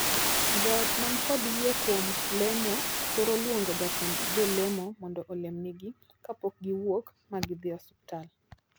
Joot man kod yie kuom lemo thoro luongo jatend jolemo mondo olemnegi kapok giwuok ma gidhii osiptal.